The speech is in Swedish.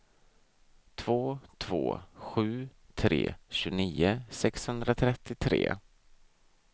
två två sju tre tjugonio sexhundratrettiotre